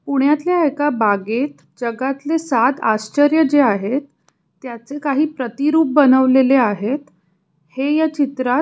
पुण्यातल्या एका बागेत जगातल सात आश्चर्य जे आहेत त्याचे काही प्रतिरूप बनवलेले आहेत हे ह्या चित्रात --